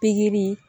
Pikiri